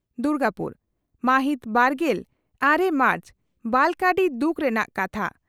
ᱫᱩᱨᱜᱟᱯᱩᱨ ᱢᱟᱦᱤᱛ ᱵᱟᱨᱜᱮᱞ ᱟᱨᱮ ᱢᱟᱨᱪ ᱵᱟᱞᱚᱠᱟᱹᱰᱤ ᱫᱩᱠ ᱨᱮᱱᱟᱜ ᱠᱟᱛᱷᱟ